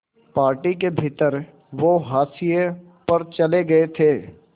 party के भीतर वो हाशिए पर चले गए थे